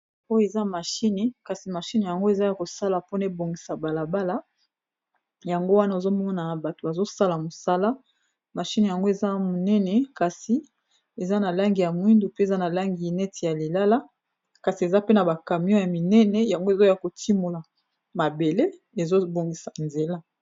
Oyo eza mashine kasi mashine yango eza ya kosala mpona ebongisa balabala, yango wana ozomonana bato azosala mosala mashine yango eza monene kasi eza na langi ya mwindu pe eza na langi neti ya lilala, kasi eza pena bakamion ya minene yango ezoya kotimola mabele ezobongisa nzela.